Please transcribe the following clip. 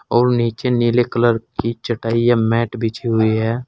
और नीचे नीले कलर की चटाइयां मैट बची हुई है।